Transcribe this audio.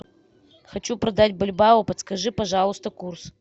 хочу продать бальбоа подскажи пожалуйста курс